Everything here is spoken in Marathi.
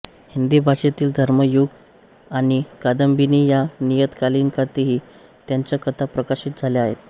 हिंदी भाषेतील धर्मयुग आणि कादंबिनी या नियतकालिकांतही त्यांच्या कथा प्रकाशित झाल्या आहेत